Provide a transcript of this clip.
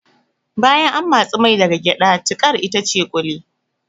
Bayan an matsi mai daga gyada tiƙar itace ƙuli